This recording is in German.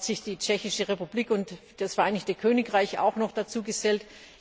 Jetzt haben sich die Tschechische Republik und das Vereinigte Königreich auch noch dazugesellt.